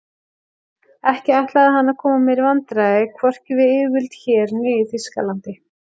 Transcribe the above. Ekki ætlaði hann að koma mér í vandræði hvorki við yfirvöld hér né í Þýskalandi.